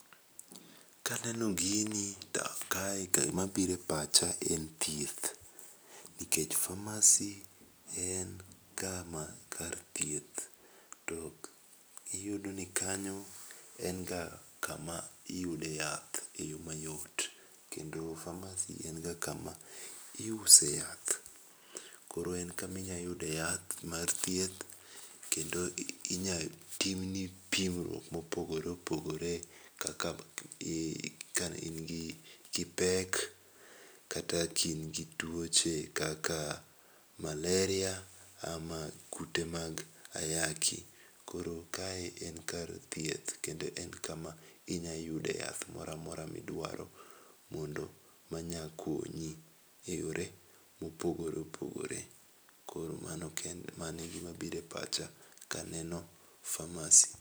Ka aneno gini to kae gi ma biro e pacha en thieth, nikech pharmacy en ka ma kar thieth. To iyudo ni kanyo en ga ka ma iyude e yath e yo mayot, kendo pharmacy en ga ka ma iuse yath. koro en ema inya yude yath mar thieth kendo inya tim pim ma opogore opogore kaka ka in ki ipek kata ka in gi twoche kaka malaria, ama kute mag ayaki. Koro ka en kar thieth kendo en ka ma inya yude yath moro amora mi dwaro mondo ma nya konyi e yore mo opogore opogore. Koro mano kende mano e gi ma biro e pacha ka aneno pharmacy.